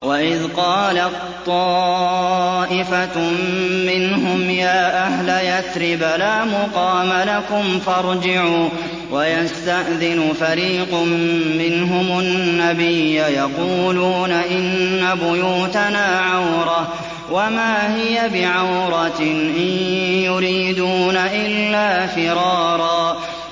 وَإِذْ قَالَت طَّائِفَةٌ مِّنْهُمْ يَا أَهْلَ يَثْرِبَ لَا مُقَامَ لَكُمْ فَارْجِعُوا ۚ وَيَسْتَأْذِنُ فَرِيقٌ مِّنْهُمُ النَّبِيَّ يَقُولُونَ إِنَّ بُيُوتَنَا عَوْرَةٌ وَمَا هِيَ بِعَوْرَةٍ ۖ إِن يُرِيدُونَ إِلَّا فِرَارًا